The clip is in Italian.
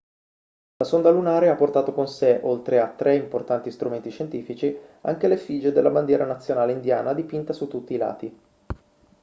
la sonda lunare ha portato con sé oltre a tre importanti strumenti scientifici anche l'effigie della bandiera nazionale indiana dipinta su tutti i lati